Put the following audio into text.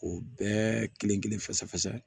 O bɛɛ kelen kelen fasa